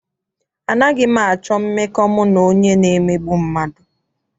Anaghị m achọ mmekọ mụ na onye na-emegbu mmadụ.